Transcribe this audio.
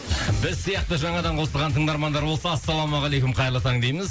біз сияқты жаңадан қосылған тыңдармандар болса ассалаумағалейкум қайырлы таң дейміз